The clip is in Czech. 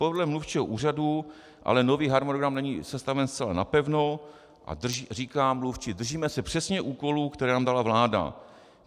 Podle mluvčího úřadu ale nový harmonogram není sestaven zcela napevno a - říká mluvčí - držíme se přesně úkolů, které nám dala vláda.